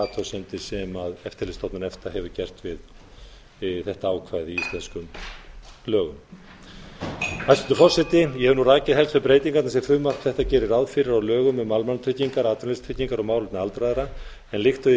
við þær athugasemdir sem eftirlitsstofnun efta hefur gert við þetta ákvæði í íslenskum lögum hæstvirtur forseti ég hef nú rakið helstu breytingarnar sem frumvarp þetta gerir ráð fyrir á lögum um almannatryggingar atvinnuleysistryggingar og málefni aldraðra en líkt og ég